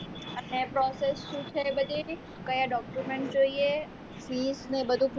અને process શું છે એ બધી કયા document જોઈએ feas ને એવું બધું